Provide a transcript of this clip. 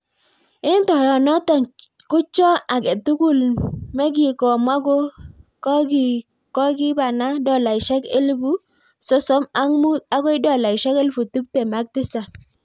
Eng toiyot notok ko choy age tugul me kowa ko kokikipana dolaishek elbu sosom ak muut akoi dolaishek elfu tiptem AK tisap.